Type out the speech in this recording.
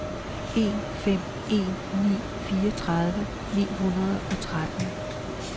en fem en ni fireogtredive ni hundrede og tretten